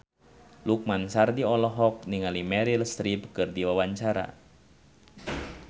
Lukman Sardi olohok ningali Meryl Streep keur diwawancara